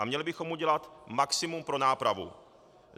A měli bychom udělat maximum pro nápravu.